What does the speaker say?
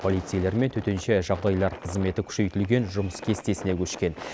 полицейлер мен төтенше жағдайлар қызметі күшейтілген жұмыс кестесіне көшкен